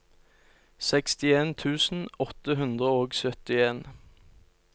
sekstien tusen åtte hundre og syttien